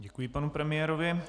Děkuji panu premiérovi.